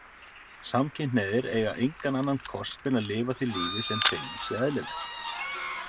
Samkynhneigðir eigi engan annan kost en að lifa því lífi sem þeim sé eðlilegt.